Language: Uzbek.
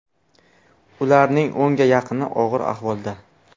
Ularning o‘nga yaqini og‘ir ahvolda.